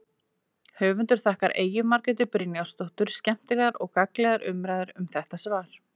Höfundur þakkar Eyju Margréti Brynjarsdóttur skemmtilegar og gagnlegar umræður um þetta svar.